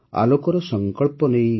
ଆଲୋକର ସଂକଳ୍ପ ନେଇ